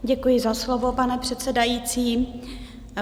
Děkuji za slovo, pane předsedající.